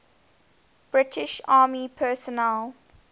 british army personnel